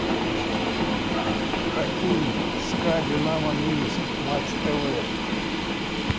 хоккей ска динамо минск матч тв